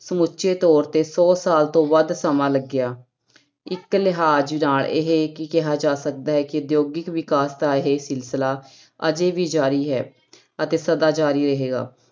ਸਮੁੱਚੇ ਤੌਰ ਤੇ ਸੌ ਸਾਲ ਤੋਂ ਵੱਧ ਸਮਾਂ ਲੱਗਿਆ, ਇੱਕ ਲਿਹਾਜ ਨਾਲ ਇਹ ਕੀ ਕਿਹਾ ਜਾ ਸਕਦਾ ਹੈ ਕਿ ਉਦਯੋਗਿਕ ਵਿਕਾਸ ਦਾ ਇਹ ਸਿਲਸਿਲਾ ਅਜੇ ਵੀ ਜ਼ਾਰੀ ਹੈ ਅਤੇ ਸਦਾ ਜ਼ਾਰੀ ਰਹੇਗਾ।